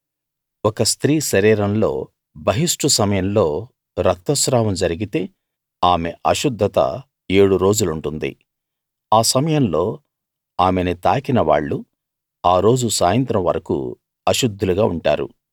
ఒక స్త్రీ శరీరంలో బహిష్టు సమయంలో రక్తస్రావం జరిగితే ఆమె అశుద్ధత ఏడు రోజులుంటుంది ఆ సమయంలో ఆమెని తాకిన వాళ్ళు ఆ రోజు సాయంత్రం వరకూ అశుద్ధులుగా ఉంటారు